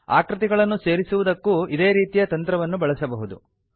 ಆಕೃತಿಗಳನ್ನು ಸೇರಿಸುವುದಕ್ಕೂ ಇದೇ ರೀತಿಯ ತಂತ್ರವನ್ನು ಬಳಸಬಹುದು